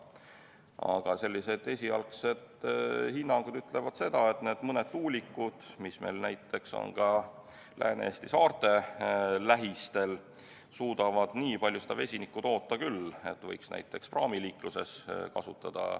Aga esialgsed hinnangud ütlevad seda, et need mõned tuulikud, mis meil on Lääne-Eesti saarte lähistel, suudavad nii palju vesinikku toota küll, et seda võiks näiteks praamiliikluses kasutada.